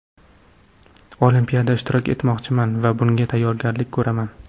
Olimpiada ishtirok etmoqchiman va bunga tayyorgarlik ko‘raman.